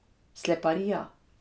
Sleparija!